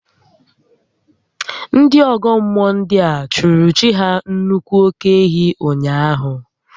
Ndị ọ́gọ́ mmụọ ndịa chụụrụ chi ha nnukwu óké-ehi ụnyaahụ